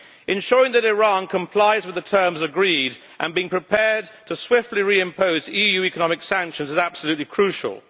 Ensuring that Iran complies with the terms agreed and being prepared to swiftly reimpose EU economic sanctions are absolutely crucial.